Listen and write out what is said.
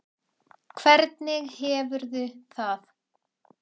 Hvernig hefurðu það?